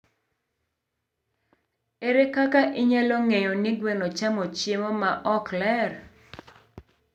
Ere kaka inyalo ng'eyo ni gweno chamo chiemo ma ok ler?